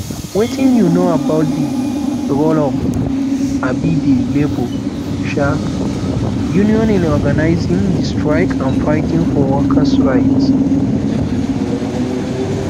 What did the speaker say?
wetin you know about di role of um di labor um union in organizing di strike and fighting for workers right